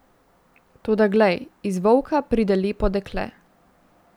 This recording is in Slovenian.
Toda glej, iz volka pride lepo dekle.